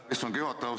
Aitäh, istungi juhataja!